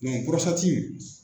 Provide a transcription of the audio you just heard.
Mɛ pɔrɔsitati